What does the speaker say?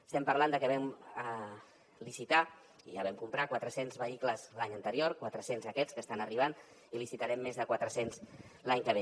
estem parlant de que vam licitar i ja vam comprar quatre cents vehicles l’any anterior quatre cents aquests que estan arribant i en licitarem més de quatre cents l’any que ve